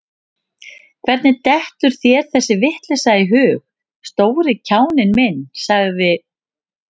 Hvernig dettur þér þessi vitleysa í hug, stóri kjáninn minn sagði